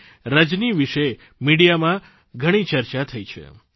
આ જ રીતે 16 વર્ષની એક દીકરી રજની વિશે મિડિયામાં ઘણી ચર્ચા થઇ છે